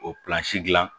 O dilan